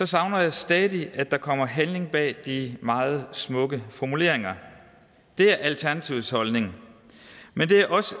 savner jeg stadig at der kommer handling bag de meget smukke formuleringer det er alternativets holdning men det er også